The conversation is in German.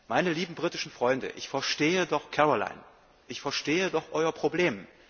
Meine lieben britischen Freunde, ich verstehe doch Caroline, ich verstehe doch Euer Problem.